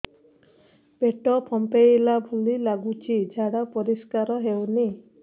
ପେଟ ଫମ୍ପେଇଲା ଭଳି ଲାଗୁଛି ଝାଡା ପରିସ୍କାର ହେଉନି